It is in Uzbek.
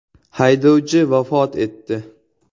Haydovchi vafot etdi.